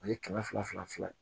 O ye kɛmɛ fila fila fila ye